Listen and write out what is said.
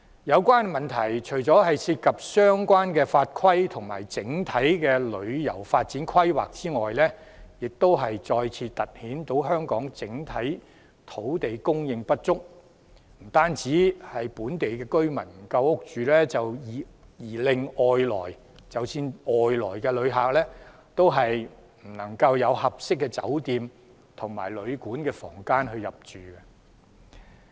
有關問題除了涉及相關法規及整體旅遊發展規劃外，亦再次突顯香港整體土地供應不足，不單本地居民沒有足夠房屋居住，外來旅客亦沒有合適的酒店及旅館房間以供入住。